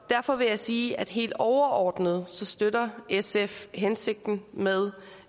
derfor vil jeg sige at helt overordnet støtter sf hensigten med